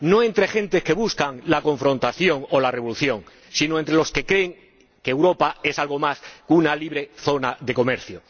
No entre gente que busca la confrontación o la revolución, sino entre los que creen que Europa es algo más que una libre zona de comercio.